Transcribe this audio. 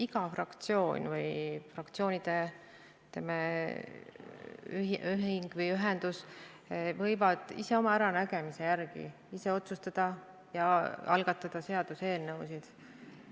Iga fraktsioon või fraktsioonide, ütleme, ühendus võib ise oma äranägemise järgi otsustada ja algatada seaduseelnõusid.